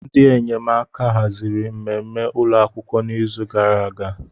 Ndị enyemaka haziri mmemme ụlọ akwụkwọ n'izu gara aga.